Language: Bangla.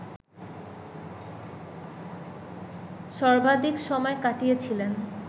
সর্বাধিক সময় কাটিয়েছিলেন